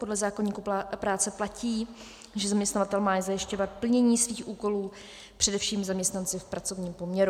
Podle zákoníku práce platí, že zaměstnavatel má zajišťovat plnění svých úkolů především zaměstnanci v pracovním poměru.